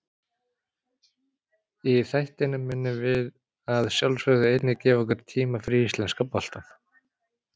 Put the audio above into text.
Í þættinum munum við að sjálfsögðu einnig gefa okkur tíma fyrir íslenska boltann.